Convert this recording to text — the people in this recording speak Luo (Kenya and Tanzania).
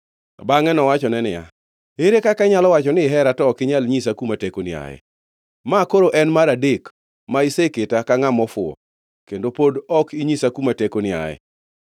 Bangʼe nowachone niya, “Ere kaka inyalo wacho ni ihera to ok inyal nyisa kuma tekoni ae? Ma koro en mar adek ma iseketa ka ngʼama ofuwo kendo pod ok inyisa kuma tekoni ae.”